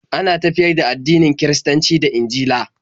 Ana tafiyar da addinin Kiristanci da Injila